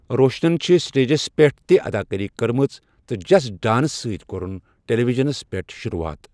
روشنَن چھُ سٹیجَس پٮ۪ٹھ تہِ اَداکٲری کٔرمٕژ تہٕ 'جسٹ ڈانس' سۭتۍ کوٚرُن ٹیلی ویژن پٮ۪ٹھ شروٗعات۔